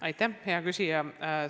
Aitäh, hea küsija!